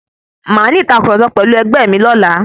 Màá ní ìtàkurọ̀sọ pẹ̀lú ẹgbé mi ọlá.